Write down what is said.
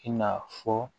I n'a fɔ